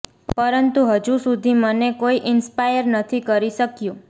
પરંતુ હજુ સુધી મને કોઈ ઈન્સપાયર નથી કરી શક્યું